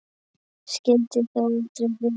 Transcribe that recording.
Skyldi þó aldrei vera.